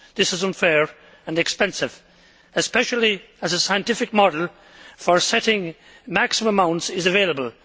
This is unfair and expensive, especially as a scientific model for setting maximum amounts is available.